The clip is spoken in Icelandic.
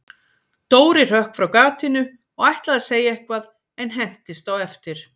Dóri hrökk frá gatinu og ætlaði að segja eitthvað, en hentist á eftir